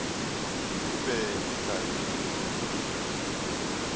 di be di sa le